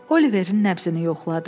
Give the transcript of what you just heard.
Oliverin nəbzini yoxladı.